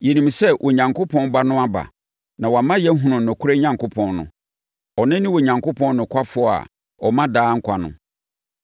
Yɛnim sɛ Onyankopɔn Ba no aba, na wama yɛahunu nokorɛ Onyankopɔn no. Ɔno ne Onyankopɔn nokwafoɔ a ɔma daa nkwa no.